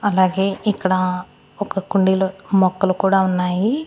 అలాగే ఇక్కడ ఒక కుండీలో మొక్కలు కూడా ఉన్నాయి.